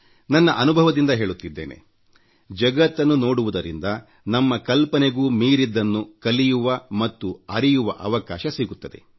ನನ್ನ ಅನುಭವದಿಂದ ಹೇಳುತ್ತಿದ್ದೇನೆ ಜಗತ್ತನ್ನು ನೋಡುವುದರಿಂದ ನಮ್ಮ ಕಲ್ಪನೆಗೂ ಮೀರಿದ್ದನ್ನು ಕಲಿಯುವ ಮತ್ತು ಅರಿಯುವ ಅವಕಾಶ ಸಿಗುತ್ತದೆ